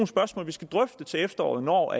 spørgsmål vi skal drøfte til efteråret når